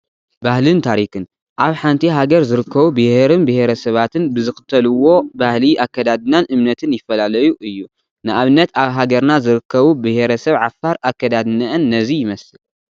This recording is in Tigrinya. ባህልን ታሪኽን፡- ኣብ ሓንቲ ሃገር ዝርከቡ ብሄርን ብሄረ ሰባትን ብዝኽተልዎ ባህሊ፣ ኣከዳድናን እምነትን ይፈላለዩ እዩ፡፡ ንኣብነት ኣብ ሃገርና ዝርከቡ ብሄረሰብ ዓፋር ኣካዳድነአን ነዚ ይመስል፡፡